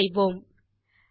Enter செய்வோம்